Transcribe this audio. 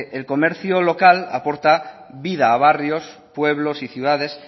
el comercio local aporta vida a barrios pueblos y ciudades